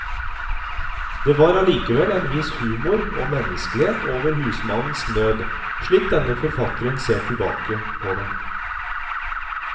Det var allikevel en viss humor og menneskelighet over husmannens nød, slik denne forfatteren ser tilbake på den.